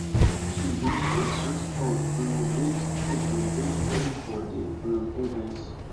she bi share sweet con um greet people jolly jolly for di um event